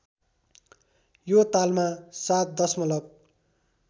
यो तालमा ७ दशमलव